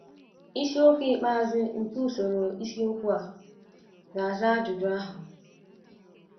Isiokwu ikpeazụ nke usoro isiokwu a ga - aza ajụjụ ahụ.